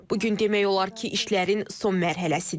Bu gün demək olar ki, işlərin son mərhələsidir.